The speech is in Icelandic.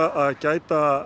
að gæta